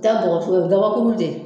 Taa o gabakuru dɛ